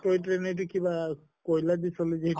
এই train দি কিবা কয়্লা দি চলে যে